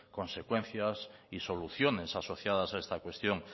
consecuencias y soluciones asociadas a esta cuestión